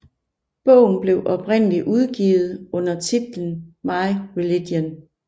Bogen blev oprindelig udgivet under titlen My Religion